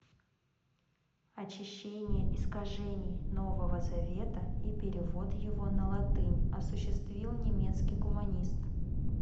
очищение искажений нового завета и перевод его на латынь осуществил немецкий гуманист